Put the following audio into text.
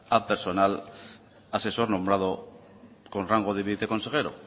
a personal asesor nombrado con rango de viceconsejero